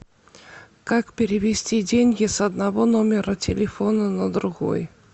как перевести деньги с одного номера телефона на другой